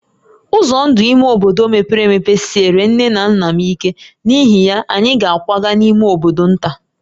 Ụzọ ndụ ime obodo mepere emepe siere nné na nnà m ike, n’ihi ya, anyị ga-akwaga n’ime bodo nta